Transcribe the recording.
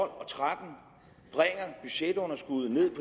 og tretten bringer budgetunderskuddet ned